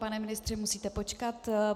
Pane ministře, musíte počkat.